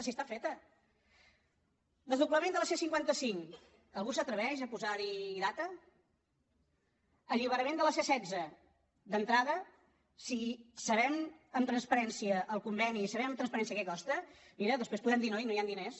si està feta desdoblament de la c·cinquanta cinc algú s’atreveix a posar·hi data alliberament de la c·setze d’entrada si sabem amb transparència el conveni i sabem amb transpa·rència què costa mira després podem dir noi no hi han diners